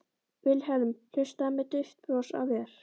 Vilhelm hlustaði með dauft bros á vör.